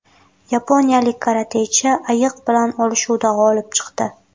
Yaponiyalik karatechi ayiq bilan olishuvda g‘olib chiqdi.